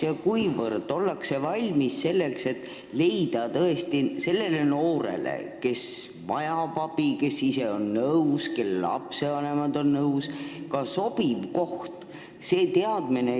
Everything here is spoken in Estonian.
Ning kui hästi ollakse valmis abi vajavale noorele, kes ise on nõus ja kelle vanemad on nõus, ka sobiv koht leidma?